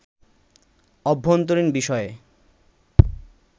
অভ্যন্তরীণ বিষয়ে